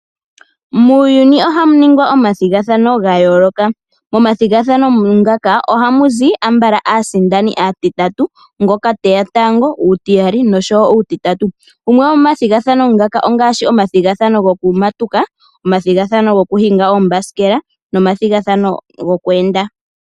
Muuyuni oha muningwa omathigathano gayooloka, momathigathano ngaka ohamuzi ambala aasindani yatatu. Ngoka teya tango, uutiyali nosho wo uutitatu, gamwe gomomathinathano ngaka ongaashi okumatuka, okuhinga oombasikela nomadhigathano gokweenda.